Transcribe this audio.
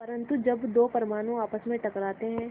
परन्तु जब दो परमाणु आपस में टकराते हैं